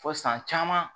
Fo san caman